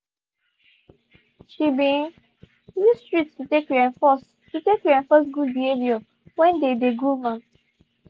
she been use treats to take reinforce to take reinforce good behaviour when they dey groom am.